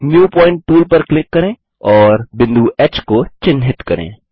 new point tool पर click करें और बिंदु ह को चिन्हित करें